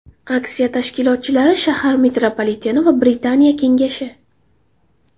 Aksiya tashkilotchilari shahar metropoliteni va Britaniya Kengashi.